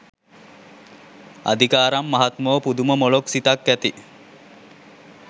අදිකාරම් මහත්මෝ පුදුම මොළොක් සිතක් ඇති